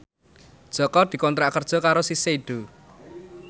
Jaka dikontrak kerja karo Shiseido